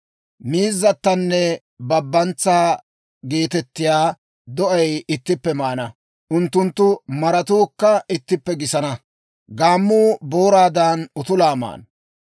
Miizzatanne babantsaa geetettiyaa do'ay ittippe maana; unttunttu maratuukka ittippe gisana; gaammuu booraadan utulaa maana.